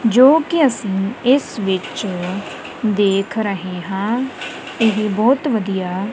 ਜੋ ਕਿ ਅਸੀਂ ਇਸ ਵਿੱਚ ਦੇਖ ਰਹੇ ਹਾਂ ਇਹ ਬਹੁਤ ਵਧੀਆ।